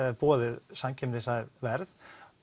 boðið samkeppnishæf verð